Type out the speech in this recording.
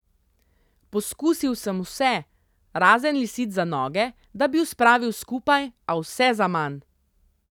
Poskusil sem vse, razen lisic za noge, da bi ju spravil skupaj, a vse zaman.